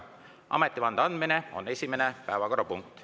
Ametivande andmine on esimene päevakorrapunkt.